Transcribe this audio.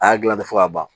A y'a dilan ten fɔ ka ban